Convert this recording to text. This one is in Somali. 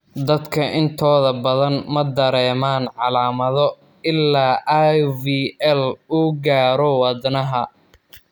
Dadka intooda badan ma dareemaan calaamado ilaa IVL uu gaaro wadnaha.